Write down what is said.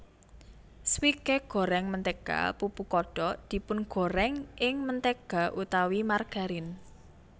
Swike goreng mentega pupu kodok dipungorèng ing mentega utawi margarin